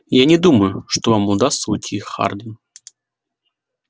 я не думаю что вам удастся уйти хардин